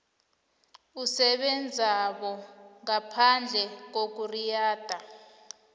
umsebenzabo ngaphandle kokuriyada